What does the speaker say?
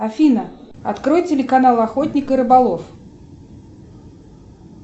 афина открой телеканал охотник и рыболов